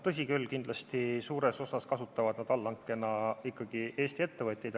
Tõsi, kindlasti kasutavad nad allhanke korras suures osas ikkagi Eesti ettevõtteid.